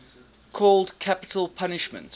called capital punishment